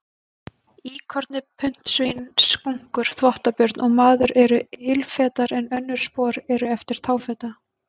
Íkorni, puntsvín, skunkur, þvottabjörn og maður eru ilfetar en önnur spor eru eftir táfeta.